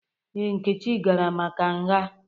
Ee, Nkechi gara maka nha.